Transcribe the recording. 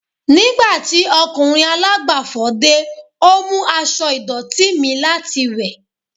Nigbati okunrin alagbafọ̀ de, o mu aṣọ idọti mi lati wẹ